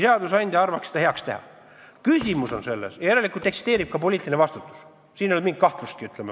Järelikult eksisteerib ka poliitiline vastutus, siin ei ole mingitki kahtlust.